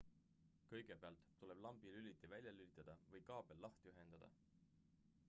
kõigepealt tuleb lambi lüliti välja lülitada või kaabel lahti ühendada